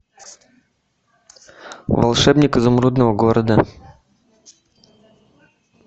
волшебник изумрудного города